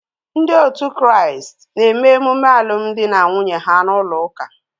Ndị otu Kraịst na-eme emume alụmdi na nwunye ha n'ụlọ ụka.